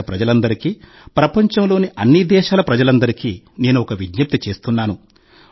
దేశప్రజలందరికీ ప్రపంచంలోని అన్ని దేశాల ప్రజలందరికీ నేను ఒక విజ్ఞప్తి చేస్తున్నాను